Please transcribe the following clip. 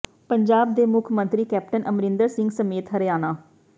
ਪੰਜਾਬ ਦੇ ਮੁੱਖ ਮੰਤਰੀ ਕੈਪਟਨ ਅਮਰਿੰਦਰ ਸਿੰਘ ਸਮੇਤ ਹਰਿਆਣਾ